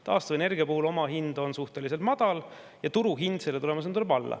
Taastuvenergia omahind on suhteliselt madal ja turuhind selle tulemusena tuleb alla.